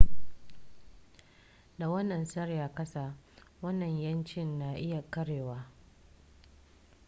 da wannan tsari a kasa wannan 'yanci na iya karewa